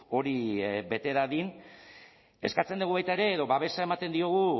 hori bete dadin eskatzen dugu baita ere edo babesa ematen diogu